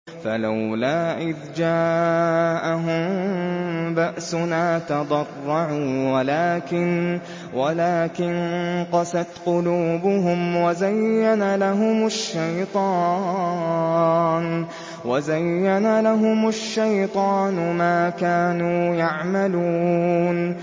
فَلَوْلَا إِذْ جَاءَهُم بَأْسُنَا تَضَرَّعُوا وَلَٰكِن قَسَتْ قُلُوبُهُمْ وَزَيَّنَ لَهُمُ الشَّيْطَانُ مَا كَانُوا يَعْمَلُونَ